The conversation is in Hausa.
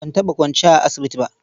Ban taɓa kwanciya a asibiti ba.